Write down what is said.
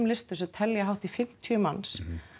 listum sem telja hátt í fimmtíu manns